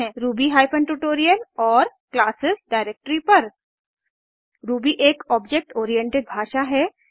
Ruby hyphen tutorial और classes directory पर Ruby एक ऑब्जेक्ट ओरिएंटेड भाषा है